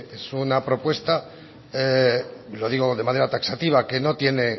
es una propuesta lo digo de manera taxativa que no tiene